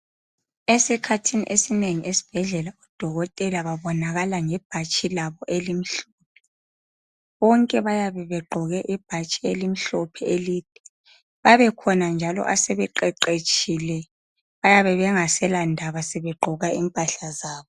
Esikhathini esinengi esibhedlela odokotela babonakala ngebhatshi labo elimhlophe bonke bayabe begqoke ibhatshi elimhlophe elide babekhona njalo asebeqeqetshile bayabe bengasela ndaba sebegqoka impahla zabo.